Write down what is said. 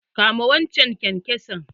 Kama waccan kyankyason!